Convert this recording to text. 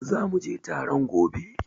Zu muje taron gobe